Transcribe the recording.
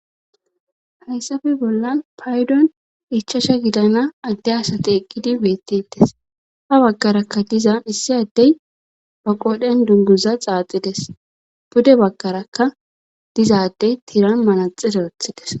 hayssafe bolla paydon ichasha gidana adde asati eqqidi beettetes ha baggarakka diza issi addey ba qodhen dunguza xaaxides bude baggaraka dizaddey tiiran manaxi darothides